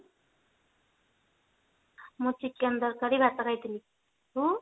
ମୁଁ chicken ତରକାରୀ ଭାତ ଖାଇଥିଲି ତୁ?